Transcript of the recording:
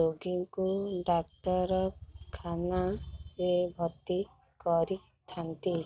ରୋଗୀକୁ ଡାକ୍ତରଖାନା ରେ ଭର୍ତି କରିଥାନ୍ତି